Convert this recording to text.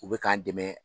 U bɛ k'an dɛmɛ